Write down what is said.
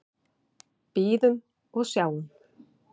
Bíðum og sjáum.